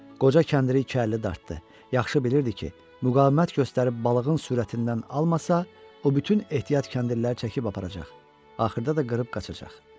Qoca kəndiri iki əlli dartdı, yaxşı bilirdi ki, müqavimət göstərib balığın sürətindən almasa, o bütün ehtiyat kəndirləri çəkib aparacaq, axırda da qırıb qaçacaq.